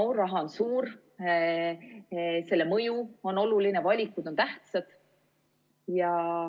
No raha on suur, selle mõju on oluline, valikud on tähtsad.